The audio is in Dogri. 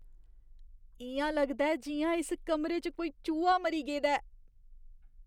इ'यां लगदा ऐ जि'यां इस कमरे च कोई चूहा मरी गेदा ऐ।